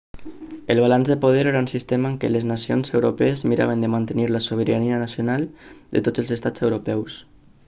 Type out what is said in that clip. el balanç de poder era un sistema en què les nacions europees miraven de mantenir la sobirania nacional de tots els estats europeus